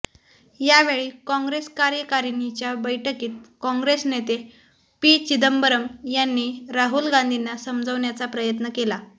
यावेळी काँग्रेस कार्यकारिणीच्या बैठकीत काँग्रेस नेते पी चिंदबरम यांनी राहुल गांधींना समजवण्याचा प्रयत्न केला